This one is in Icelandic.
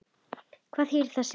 Hvað þýðir það síðan?